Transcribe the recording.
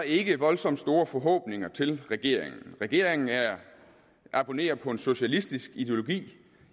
ikke voldsomt store forhåbninger til regeringen regeringen abonnerer på en socialistisk ideologi